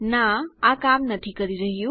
ના આ કામ નથી કરી રહ્યું